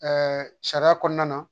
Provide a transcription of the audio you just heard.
sariya kɔnɔna na